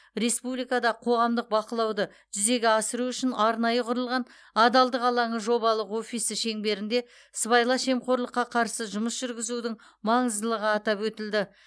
республикада қоғамдық бақылауды жүзеге асыру үшін арнайы құрылған адалдық алаңы жобалық офисі шеңберінде сыбайлас жемқорлыққа қарсы жұмыс жүргізудің маңыздылығы атап өтілді